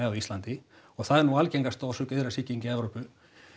á Íslandi og það er nú algengasta orsök iðrasýjkinga í Evrópu